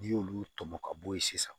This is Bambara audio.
N'i y'olu tɔmɔ ka bɔ yen sisan